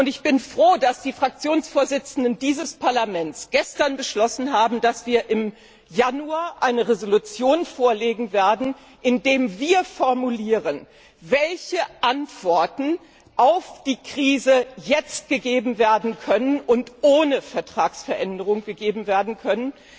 Und ich bin froh, dass die Fraktionsvorsitzenden dieses Parlaments gestern beschlossen haben, dass wir im Januar eine Entschließung vorlegen werden, in der wir formulieren, welche Antworten auf die Krise jetzt und ohne Vertragsveränderung gegeben werden können.